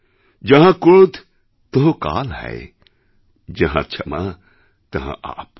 যাহাঁ ক্রোধ তহঁ কাল হ্যায় যাহাঁ ক্ষমা তহঁ আপ